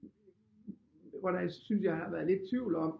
Hvor der synes jeg har været lidt tvivl om